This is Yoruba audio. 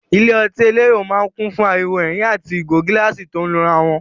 Ilé ọtí elérò máa ń kùn fún ariwo ẹ̀rín àti ìgò gíláàsì tó ń lura wọn.